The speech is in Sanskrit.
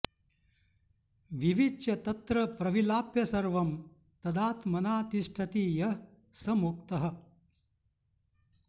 विविच्य तत्र प्रविलाप्य सर्वं तदात्मना तिष्ठति यः स मुक्तः